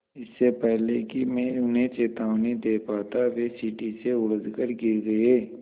इससे पहले कि मैं उन्हें चेतावनी दे पाता वे सीढ़ी से उलझकर गिर गए